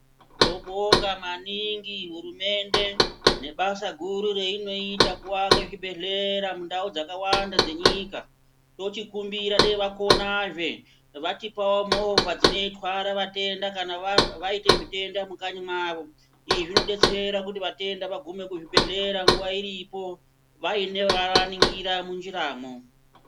Tinobonga maningi hurumende nebasa guru rainoita kuaka zvibhehlera mundau dzakawanda dzenyika tochikumbira dai vakonazve votipawo movha dzinotwara vatenda vaita zvitenda mukanyi mavo izvi zvinodetsera kuti vatenda vagume kuzvibhehlera nguva iripo vaiva nevava ningira munjiramo.